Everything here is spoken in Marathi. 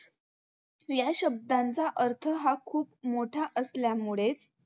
या शब्दांचा अर्थ हा खूप मोठा असल्यामुळे